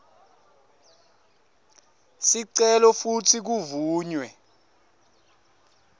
sicelo futsi kuvunywe